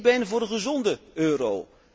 Ik ben voor de gezonde euro.